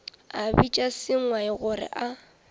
a bitša sengwai gore a